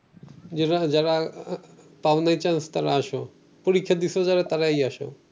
যারা পাওনাই চান্স তারা আসো পরীক্ষা দিসো যারা তারাই আসো